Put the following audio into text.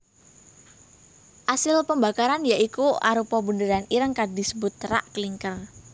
Asil pembakaran ya iku arupa bunderan ireng kang disebut terak klinker